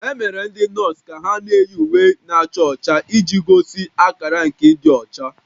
E mere ndị nọọsụ ka ha na-eyi uwe na-acha ọcha iji gosi akara nke ịdị ọcha